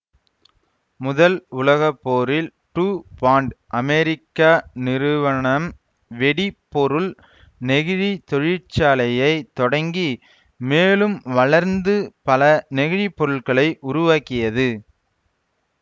முதல் உலக போரில் டுபாண்ட் அமெரிக்க நிறுவணம்வெடி பொருள் நெகிழித் தொழிற்சாலையைத் தொடங்கி மேலும் வளர்ந்து பல நெகிழி பொருள்களை உருவாக்கியது